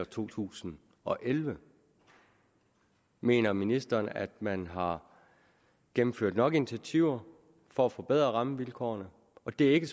to tusind og elleve mener ministeren at man har gennemført nok initiativer for at forbedre rammevilkårene og det er ikke